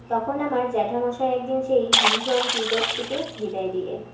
তখন আমার জ্যাঠামশায় একদিন সেই বিভীষণ tutor টিকে বিদায় দিলেন